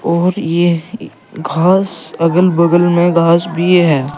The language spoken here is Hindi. और ये घास अगल बगल में घास भी है।